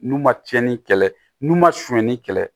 N'u ma cɛnni kɛlɛ n'u ma sonyani kɛlɛ